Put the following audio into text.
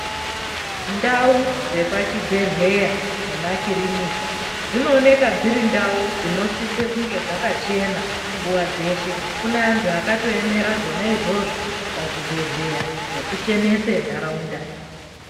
Ndau dzepachibhelera nemakirinika dzinoneka dzirindau dzinosiso dzakachena nguva dzeshe kunevantu vakatoemera zvona izvozvo pazvi bhedhlera zvekuchenesae ntaraunta.